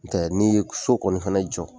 N'u tɛ n'i ye so kɔni fɛnɛ jɔ.